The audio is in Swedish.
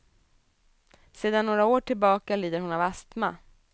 Sedan några år tillbaka lider hon av astma.